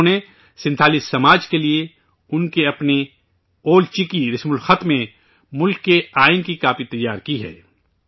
انہوں نے، سنتھالی سماج کے لئے ، ان کی اپنی 'اول چکی' رسم الخط میں ملک کے آئین کی کاپی تیار کی ہے